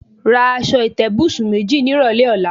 Ra as̩o̩ ìté̩bùsùn méjì nírò̩lé̩ ò̩la.